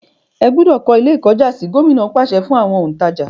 ẹ gbúdọ̀ kọ́ Ilé-ìkọ́jàsí! Gómìnà pàṣẹ fún àwọn òǹtàjà.